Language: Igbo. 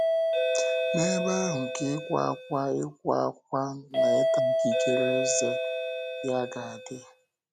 N’ebe ahụ ka ịkwa ákwá ịkwa ákwá na ịta ikikere ezé ya ga-adị.”